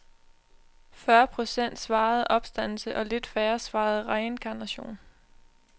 Fyrre procent svarede opstandelse og lidt færre svarede reinkarnation.